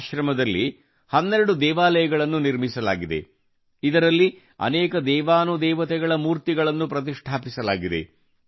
ಆಶ್ರಮದಲ್ಲಿ 12 ದೇವಾಲಯಗಳನ್ನು ನಿರ್ಮಿಸಲಾಗಿದೆ ಇದರಲ್ಲಿ ಅನೇಕ ದೇವಾನುದೇವತೆಗಳ ಮೂರ್ತಿಗಳನ್ನು ಪ್ರತಿಷ್ಠಾಪಿಸಲಾಗಿದೆ